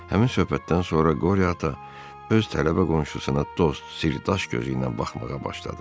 Həmin söhbətdən sonra Qori ata öz tələbə qonşusuna dost, sirdaş gözü ilə baxmağa başladı.